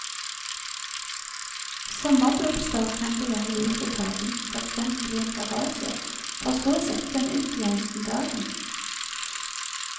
Sommerblomster kan det være lurt å ta inn, for eksempel i en garasje, for så å sette dem ut igjen om dagen.